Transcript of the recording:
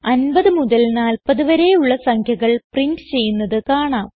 50 മുതൽ 40 വരെയുള്ള സംഖ്യകൾ പ്രിന്റ് ചെയ്യുന്നത് കാണാം